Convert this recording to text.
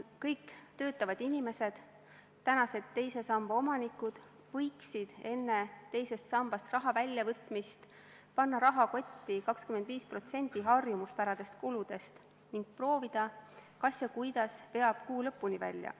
Kõik töötavad inimesed, tänased teise samba omanikud võiksid enne teisest sambast raha väljavõtmist panna rahakotti 25% harjumuspärastest kuludest ning proovida, kas ja kuidas veab kuu lõpuni välja.